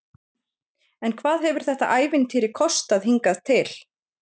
En hvað hefur þetta ævintýri kostað hingað til?